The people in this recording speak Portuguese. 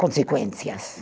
consequências.